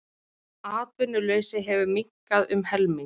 Atvinnuleysi hefur minnkað um helming.